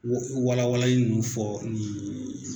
Walawalali ninnu fɔ nin